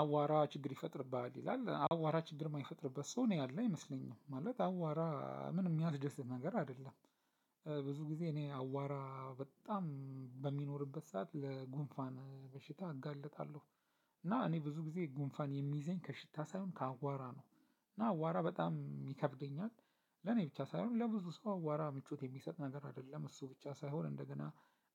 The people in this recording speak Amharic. "አዋራ ችግር ይፈጥርብሃል?" ይላል። አዋራ ችግር የማይፈጥርበት ሰው እኔ ያለ አይመስለኝም። ማለት አዋራ ምንም የሚያስደስት ነገር አይደለም። ብዙ ጊዜ እኔ አዋራ በጣም በሚኖርበት ሰዓት ለጉንፋን በሽታ እጋለጣለሁ። እና እኔ ብዙ ጊዜ ጉንፋን የሚይዘኝ ከሽታ ሳይሆን ከአዋራ ነው፤ እና አዋራ በጣም ይከብደኛል ለኔ ብቻ ሳይሆን ለብዙ ሰው አዋራ ምቾት የሚሰጥ ነገር አይደለም። እሱ ብቻ ሳይሆን እንደገና